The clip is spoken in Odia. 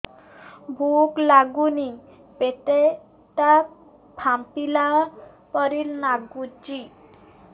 ଭୁକ ଲାଗୁନି ପେଟ ଟା ଫାମ୍ପିଲା ପରି ନାଗୁଚି